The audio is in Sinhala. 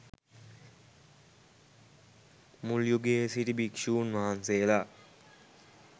මුල් යුගයේ සිටි භික්‍ෂූන් වහන්සේලා